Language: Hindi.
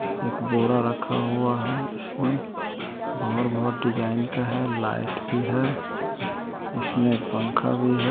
एक बोरा रखा हुआ है इसमें बाहर बहुत डिजाइन का है लाइट भी है इसमें पंखा भी है।